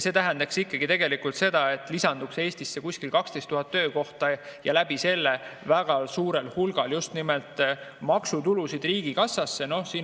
See tähendaks tegelikult, et Eestisse lisanduks umbes 12 000 töökohta ja läbi selle väga suurel hulgal maksutulusid riigikassasse.